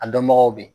A dɔnbagaw bɛ yen